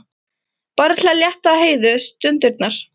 Bara til að létta Heiðu stundirnar.